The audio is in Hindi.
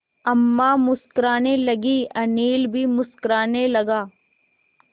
अम्मा मुस्कराने लगीं अनिल भी मुस्कराने लगा